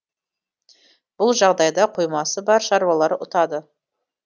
бұл жағдайда қоймасы бар шаруалар ұтады